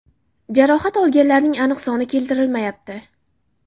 Jarohat olganlarning aniq soni keltirilmayapti.